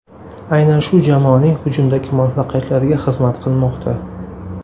Aynan shu jamoaning hujumdagi muvaffaqiyatlariga xizmat qilmoqda.